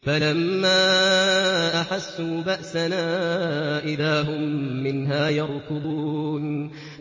فَلَمَّا أَحَسُّوا بَأْسَنَا إِذَا هُم مِّنْهَا يَرْكُضُونَ